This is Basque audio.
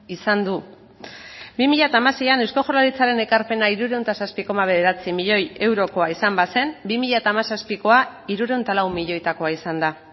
izan du bi mila hamaseian eusko jaurlaritzaren ekarpena hirurehun eta zazpi koma bederatzi milioi eurokoa izan bazen bi mila hamazazpikoa hirurehun eta lau milioitakoa izan da